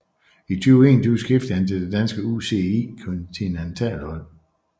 I 2021 skiftede han til det danske UCI kontinentalhold